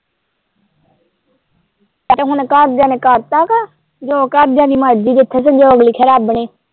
ਆਹ ਤੇ ਹੁਣ ਘਰਦਿਆਂ ਨੇ ਕਰ ਤਾਂ ਵਾਂ ਜੋ ਘਰਦਿਆਂ ਦੀ ਮਰਜ਼ੀ ਜਿੱਥੇ ਸੰਯੋਗ ਲਿਖੇ ਰੱਬ ਨੇ ।